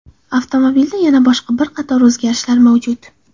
Avtomobilda yana boshqa bir qator o‘zgarishlar mavjud.